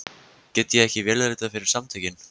Get ég ekki vélritað fyrir Samtökin?